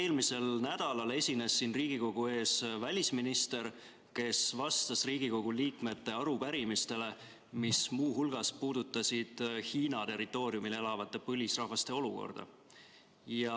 Eelmisel nädalal esines siin Riigikogu ees välisminister, kes vastas Riigikogu liikmete arupärimisele, mille küsimused muu hulgas puudutasid Hiina territooriumil elavate põlisrahvaste olukorda.